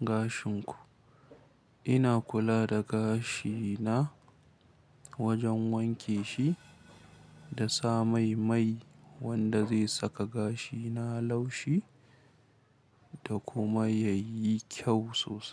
gashin ku? Ina kula da gashi na wajen wanke shi da sa mai mai wanda zai saka gashi na laushi da kuma ya yi kyau sosai.